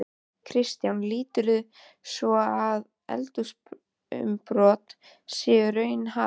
Kristján: Líturðu svo á að eldsumbrot séu í raun hafin?